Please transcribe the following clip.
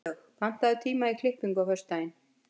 Snjólaug, pantaðu tíma í klippingu á föstudaginn.